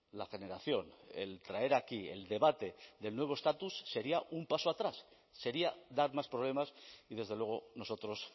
la generación el traer aquí el debate del nuevo estatus sería un paso atrás sería dar más problemas y desde luego nosotros